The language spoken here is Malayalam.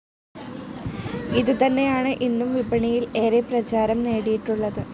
ഇതുതന്നെയാണ് ഇന്നും വിപണിയിൽ ഏറെ പ്രചാരം നേടിയിട്ടുള്ളത്.